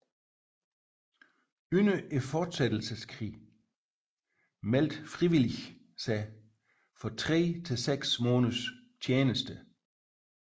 Under fortsættelseskrigen meldte frivillige sig for tre til seks måneders tjeneste